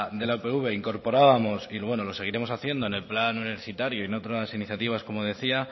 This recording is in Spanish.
de la upv incorporábamos y lo seguiremos haciendo en el plan universitario y en otras iniciativas como decía